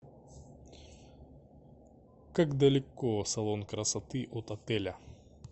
как далеко салон красоты от отеля